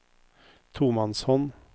tomannshånd